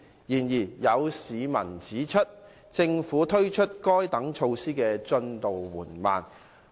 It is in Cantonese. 然而，有市民指出，政府推行該等措施的進展緩慢。